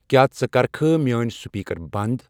کیٛاہ ژٕ کرِکھٕ میٲنۍ سپیکر بنٛد؟